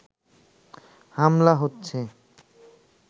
হামলা হচ্ছে